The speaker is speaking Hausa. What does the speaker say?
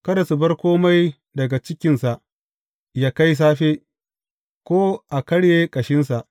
Kada su bar kome daga cikinsa yă kai safe, ko a karye ƙashinsa.